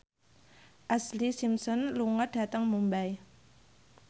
Ashlee Simpson lunga dhateng Mumbai